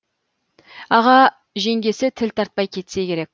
аға жеңгесі тіл тартпай кетсе керек